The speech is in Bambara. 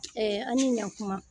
Ɛɛ a ni ɲan kuma.